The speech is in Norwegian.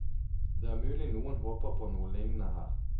Det er mulig noen håper på noe lignende her.